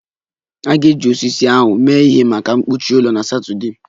A ga-eji osisi ahụ mee ihe maka mkpuchi ụlọ na Satọdee